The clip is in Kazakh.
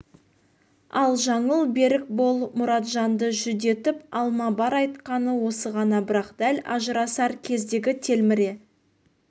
ал жаңыл берік бол мұратжанды жүдетіп алма бар айтқаны осы ғана бірақ дәл ажырасар кездегі телміре